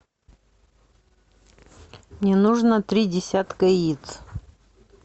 мне нужно три десятка яиц